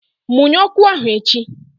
Munye ọkụ ahụ echi!